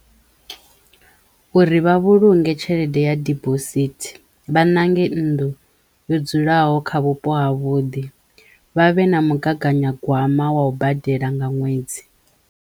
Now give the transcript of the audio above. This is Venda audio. Uri vha vhulunge tshelede ya dibosithi vha ṋange nnḓu yo dzulaho kha vhupo ha vhuḓi. Vha vhe na mugaganya gwama wa u badela nga ṅwedzi.